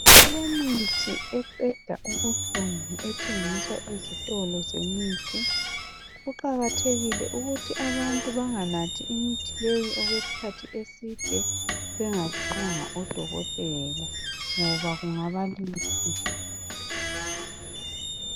Kulemithi eqeda ubuhlungu ethengiswa ezitolo zemithi kuqakathekile ukuthi abantu benganathi imithi leyi okwesikhathi eside bengabonanga odokotela ngoba kungabalimaza.